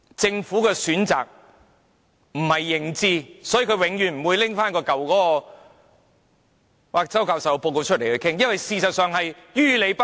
政府是基於選擇而不是認知，因此它永遠不會拿周教授的報告來討論，因為它實在於理不合。